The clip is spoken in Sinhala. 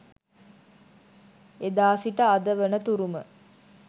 එදා සිට අද වන තුරුම